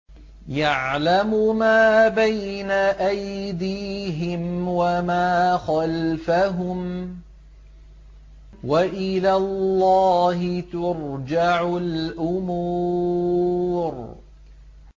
يَعْلَمُ مَا بَيْنَ أَيْدِيهِمْ وَمَا خَلْفَهُمْ ۗ وَإِلَى اللَّهِ تُرْجَعُ الْأُمُورُ